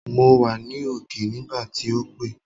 Mo wà ní òkè nígbà tí o pé